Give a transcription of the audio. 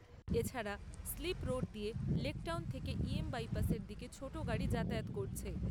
এছাড়া, slip road দিয়ে লেকটাউন থেকে ইএম বাইপাসের দিকে ছোট গাড়ি যাতায়াত করছে।